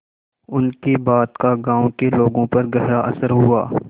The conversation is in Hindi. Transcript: उनकी बात का गांव के लोगों पर गहरा असर हुआ